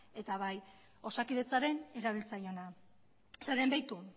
eta bai osakidetzaren erabiltzaileena beitu